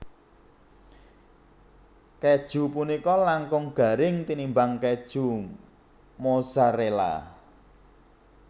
Kèju punika langkung garing tinimbang kèju Mozzarella